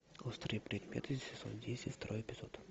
острые предметы сезон десять второй эпизод